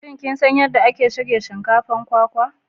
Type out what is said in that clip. Shin kin san yadda ake shirya shinkafar kwakwa?